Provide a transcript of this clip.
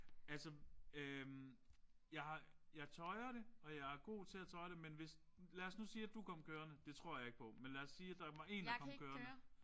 Altså øh jeg har jeg tøjre det og jeg er god til at tøjre det men hvis lad os nu lige at du kom kørende det tror jeg ikke på men lad siger der er én der kom kørende